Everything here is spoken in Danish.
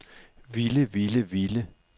ville ville ville